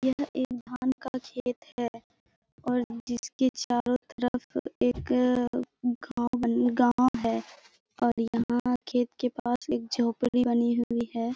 यह एक धान का खेत है और जिसके चारों तरफ एक गाँव बन गाँव है और यहाँ खेत के पास एक झोंपड़ी बनी हुई है ।